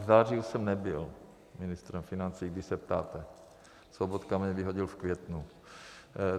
V září už jsem nebyl ministrem financí, když se ptáte, Sobotka mě vyhodil v květnu.